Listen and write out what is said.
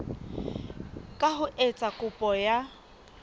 ka ho etsa kopo ya